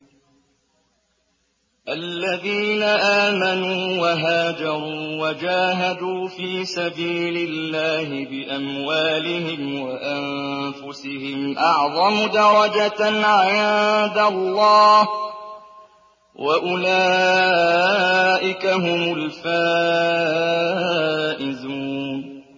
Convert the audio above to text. الَّذِينَ آمَنُوا وَهَاجَرُوا وَجَاهَدُوا فِي سَبِيلِ اللَّهِ بِأَمْوَالِهِمْ وَأَنفُسِهِمْ أَعْظَمُ دَرَجَةً عِندَ اللَّهِ ۚ وَأُولَٰئِكَ هُمُ الْفَائِزُونَ